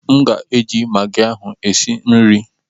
M ga-eji magị ahụ e si nri.